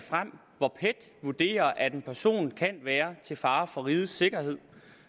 vurderer at en person kan være til fare for rigets sikkerhed